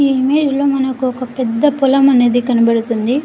ఈ ఇమేజ్ లో మనకొక పెద్ద పొలం అనేది కనపడుతుంది.